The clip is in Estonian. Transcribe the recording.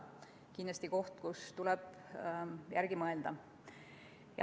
See on kindlasti teema, mille üle tuleb mõelda.